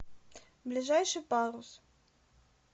ближайший парус